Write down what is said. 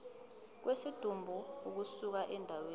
kwesidumbu ukusuka endaweni